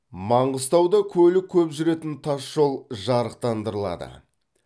маңғыстауда көлік көп жүретін тас жол жарықтандырылады